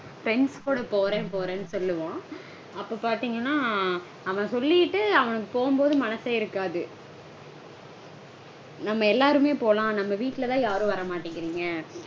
Friends கூட போறேன் போறேனு சொல்லுவான். அப்போ பாத்தீங்கனா அவன் சொல்லிட்டு அவனுக்கு போகவே மனசே இருக்காது. நம்ம எல்லாருமே போலாம். நம்ம வீட்லதா யாரும் வர மாட்டேங்கறீங்க